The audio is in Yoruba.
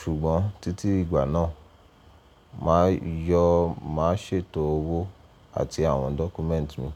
Ṣùgbọ́n títí ìgbà náà, màá yọ màá ṣètò owó àti àwọn dọ́kúmẹ́ǹtì mi.